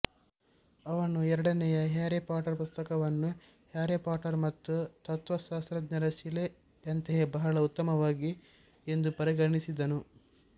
ಅವನು ಎರಡನೇ Harry Potter ಪುಸ್ತಕವನ್ನು ಹ್ಯಾರಿ ಪಾಟರ್ ಮತ್ತು ತತ್ವಶಾಸ್ತ್ರಜ್ಞರ ಶಿಲೆ ಯಂತೆಯೇ ಬಹಳ ಉತ್ತಮವಾಗಿದೆ ಎಂದು ಪರಿಗಣಿಸಿದನು